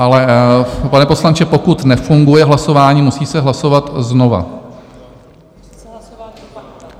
Ale pane poslanče, pokud nefunguje hlasování, musí se hlasovat znovu.